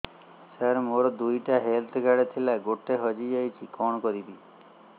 ସାର ମୋର ଦୁଇ ଟି ହେଲ୍ଥ କାର୍ଡ ଥିଲା ଗୋଟେ ହଜିଯାଇଛି କଣ କରିବି